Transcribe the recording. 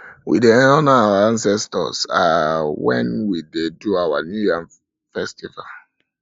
we dey honour our ancestors um wen we dey do our new yam our new yam festival